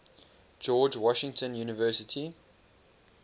george washington university